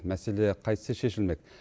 мәселе қайтсе шешілмек